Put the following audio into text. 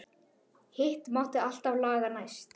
Hitt mátti alltaf laga næst.